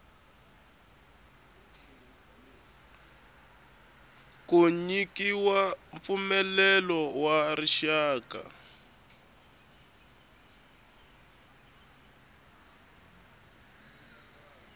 ku nyikiwa mpfumelelo wa rixaka